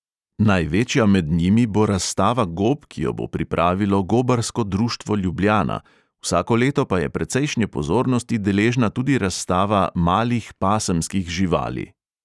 Največja med njimi bo razstava gob, ki jo bo pripravilo gobarsko društvo ljubljana, vsako leto pa je precejšnje pozornosti deležna tudi razstava malih pasemskih živali.